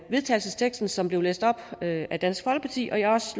vedtagelsesteksten som blev læst op af af dansk folkeparti og jeg har